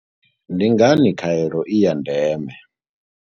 Ndi ngani khaelo i ya ndeme?